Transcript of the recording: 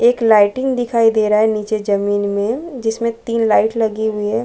एक लाइटिंग दिखाई दे रहा है नीचे जमीन में जिसमें तीन लाइट लगी हुई हैं ।